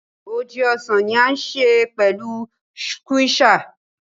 Óje ọ́sàn ni a ṣe pẹlu sùkwéesà.